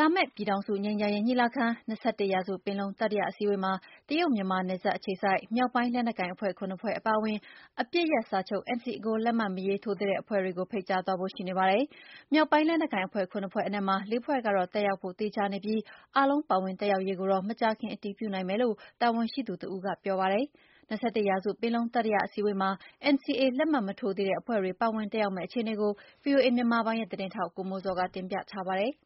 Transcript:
လာမယ့် ပြည်ထောင်စုငြိမ်းချမ်းရေးညီလာခံ - ၂၁ရာစုပင်လုံတတိယအစည်းအဝေးမှာ တရုတ်-မြန်မာနယ်စပ်အခြေစိုက် မြောက်ပိုင်းလက်နက်ကိုင်အဖွဲ့ ၇ဖွဲ့အပါအဝင် အပစ်ရပ်စာချုပ် NCA ကို လက်မှတ်မရေးထိုးသေးတဲ့ အဖွဲ့ ၉ဖွဲ့ကို ဖိတ်ကြားသွားဖို့ ရှိနေပါတယ်။မြောက်ပိုင်းလက်နက်ကိုင်အဖွဲ့ ၇ဖွဲ့အနက်မှာ ၄ဖွဲ့ကတော့ တက်ရောက်ဖို့ သေချာနေပြီး အားလုံးပါဝင်တက်ရောက်ရေးကိုတော့ မကြာခင် အတည်ပြုနိုင်မယ်လို့ တာဝန်ရှိသူတဦးက ပြောပါတယ်။ ၂၁ရာစုပင်လုံတတိယအစည်းအဝေးမှာ NCA လက်မှတ်မထိုးသေးတဲ့အဖွဲ့တွေ ပါဝင်တက်ရောက်မယ့် အခြေအနေကို ဗွီအိုအေမြန်မာပိုင်းရဲ့သတင်းထောက် ကိုမိုးဇော်က တင်ပြထားပါတယ်။